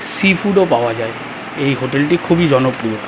Sea food ও পাওয়া যায় এই হোটেল টি খুবই জনপ্রিয়।